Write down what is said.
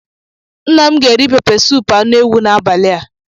Nna m ga eri pepesụpụ anu ewu n'abali a.